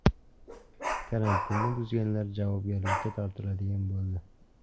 Karantinni buzganlar javobgarlikka tortiladigan bo‘ldi.